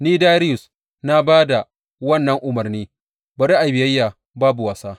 Ni Dariyus na ba da wannan umarni, bari a yi biyayya babu wasa.